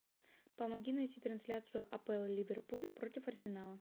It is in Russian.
помоги найти трансляцию апл ливерпуль против арсенала